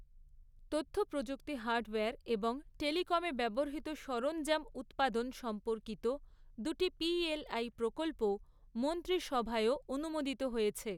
তথ্য প্রযুক্তি হার্ডওয়্যার এবং টেলিকমে ব্যবহৃত সরঞ্জাম উৎপাদন সম্পর্কিত দুটি পিএলআই প্রকল্পও মন্ত্রিসভায়ও অনুমোদিত হয়েছে।